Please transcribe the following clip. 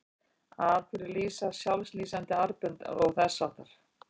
Af hverju lýsa sjálflýsandi armbönd og þess háttar?